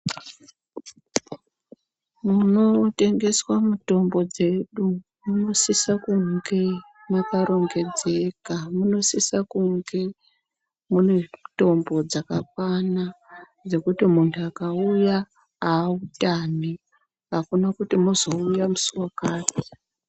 Munotengeswa mutombo dzedu munosisa kunge mwakarongedzeka, munosisa kunge mune mitombo dzakakwana dzekuti munhu angauya autami, akuna kuti mwozouya musi wakati.